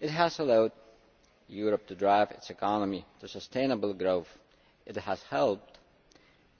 It has allowed Europe to drive its economy to sustainable growth. It has helped